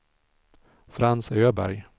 Frans Öberg